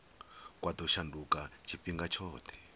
kwa ḓo shanduka tshifhinga tshoṱhe